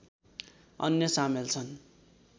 अन्य सामेल छन्